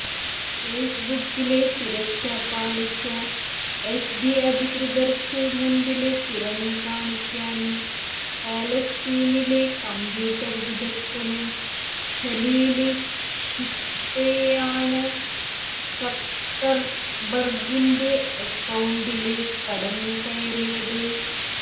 ഫെയ്സ്ബുക്കിലെ സുരക്ഷാ പാളിച്ച എഫ്ബി അധികൃതര്ക്ക് മുമ്പില് തുറന്നുകാണിക്കാന് പാലസ്തീനിലെ കമ്പ്യൂട്ടര് വിദഗ്ധന് ഖലീല് ഷ്രിത്തെയാണ് സക്കര്ബര്ഗിന്റെ അക്കൌണ്ടില് കടന്നുകയറിയത്